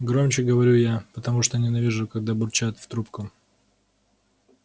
громче говорю я потому что ненавижу когда бурчат в трубку